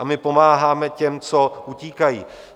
A my pomáháme těm, co utíkají.